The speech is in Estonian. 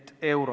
Aitäh!